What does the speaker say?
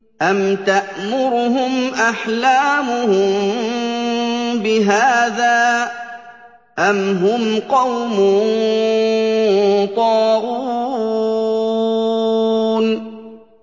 أَمْ تَأْمُرُهُمْ أَحْلَامُهُم بِهَٰذَا ۚ أَمْ هُمْ قَوْمٌ طَاغُونَ